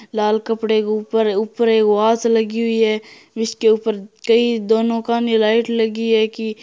लाल कपड़े के ऊपर ऊपर एक वास लगी हुई है जिसके ऊपर कई दोनों काने लाइट लगी है की--